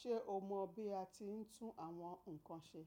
Ṣé o mọ̀ bí a ti ń tún àwọn nǹkan ṣe?